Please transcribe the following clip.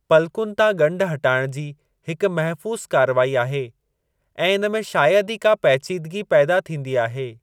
पलकुनि तां ॻंढि हटाइण जी हिकु महफ़ूज़ु कारवाई आहे ऐं इन में शायदि ई का पैचीदगी पैदा थींदी आहे।